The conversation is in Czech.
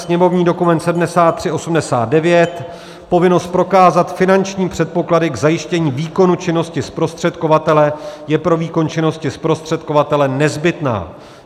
Sněmovní dokument 7389: povinnost prokázat finanční předpoklady k zajištění výkonu činnosti zprostředkovatele je pro výkon činnosti zprostředkovatele nezbytná.